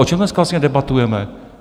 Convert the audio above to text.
O čem dneska vlastně debatujeme?